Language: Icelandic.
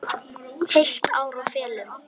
Heilt ár í felum.